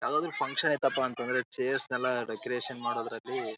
ಯಾವುದಾದ್ರು ಫಂಕ್ಷನ್‌ ಇತ್ತಪ್ಪ ಅಂತ ಅಂದ್ರೆ ಚೇರ್ಸ ನೆಲ್ಲಾ ಡೆಕೋರೇಷನ್ ಮಾಡೋದ್ರಲ್ಲಿ --